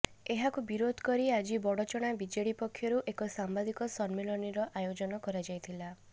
ଏହାକୁ ବିରୋଧ କରି ଆଜି ବଡ଼ଚଣା ବିଜେଡି ପକ୍ଷରୁ ଏକ ସାମ୍ବାଦିକ ସମ୍ମିଳନୀର ଆୟୋଜନ କରାଯାଇଥିଲା